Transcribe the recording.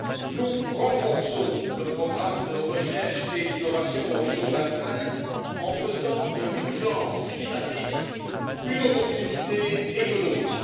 Nous renforçons le programme de recherche et d'innovation Horizon 2020 en faisant de l'urgence climatique une perspective économique.